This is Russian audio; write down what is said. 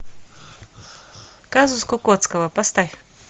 казус кукоцкого поставь